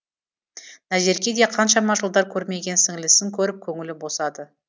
назерке де қаншама жылдар көрмеген сіңілісін көріп көңілі босады